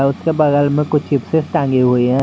उसके बगल में कुछ चिप्स टंगी हुई है।